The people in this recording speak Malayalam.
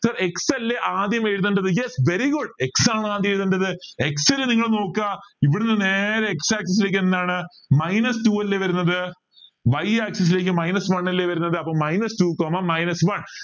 sir x അല്ലെ ആദ്യം എഴുതണ്ടത് yes very good x ആണ് ആദ്യം എഴുതണ്ടത് x ൽ നിങ്ങൾ നോക്ക ഇവിടുന്ന് നേരെ x axis ലേക്ക് എന്താണ് minus two അല്ലെ വരുന്നത് y axis ലേക്ക് minus one അല്ലെ വരുന്നത് അപ്പൊ minus two comma minus one